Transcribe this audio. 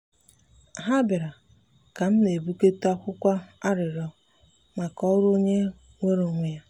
ha biara ka m na-ebugote akwụkwọ arịrịọ maka ọrụ onye nweere onwe ya.